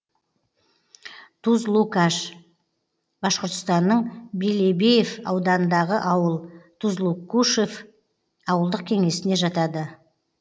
тузлукаш башқұртстанның белебеев ауданындағы ауыл тузлукушев ауылдық кеңесіне жатады